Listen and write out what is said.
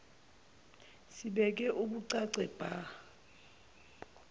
sibeke bucace bha